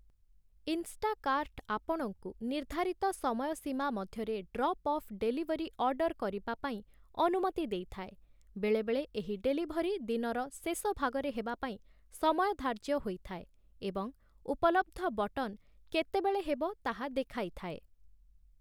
ଇନ୍‌ଷ୍ଟାକାର୍ଟ ଆପଣଙ୍କୁ ନିର୍ଦ୍ଧାରିତ ସମୟ ସୀମା ମଧ୍ୟରେ ଡ୍ରପ୍‌-ଅଫ୍‌ ଡେଲିଭରି ଅର୍ଡ଼ର କରିବା ପାଇଁ ଅନୁମତି ଦେଇଥାଏ ବେଳେବେଳେ ଏହି ଡେଲିଭରି ଦିନର ଶେଷ ଭାଗରେ ହେବାପାଇଁ ସମୟ ଧାର୍ଯ୍ୟ ହୋଇଥାଏ ଏବଂ ଉପଲବ୍ଧ ବଟନ୍‌ କେତେବେଳେ ହେବ ତାହା ଦେଖାଇଥାଏ ।